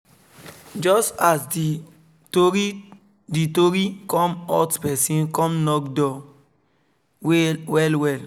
just as the tori the tori come hot person come knock door well well